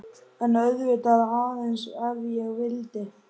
En auðvitað,- aðeins ef ég vildi.